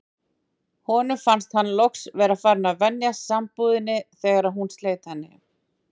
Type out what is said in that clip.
Honum fannst hann loks vera farinn að venjast sambúðinni þegar hún sleit henni.